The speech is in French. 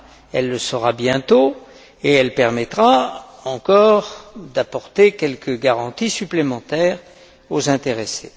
Elle le sera bientôt et elle permettra encore d'apporter quelques garanties supplémentaires aux intéressés.